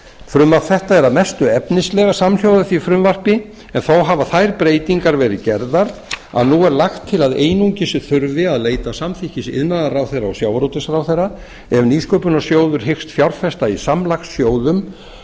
frumvarp þetta er að mestu efnislega samhljóða því frumvarpi en þó hafa þær breytingar verið gerðar að nú er lagt til að einungis þurfi að leita samþykkis iðnaðarráðherra og sjávarútvegsráðherra ef nýsköpunarsjóður hyggst fjárfesta í samlagssjóðum og